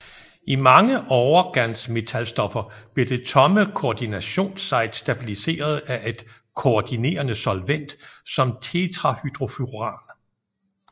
I mange overgansmetalstoffer bliver det tomme koordinationssite stabiliseret af et koordinerende solvent som tetrahydrofuran